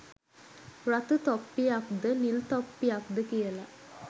රතු තොප්පියක්ද නිල් තොප්පියක්ද කියල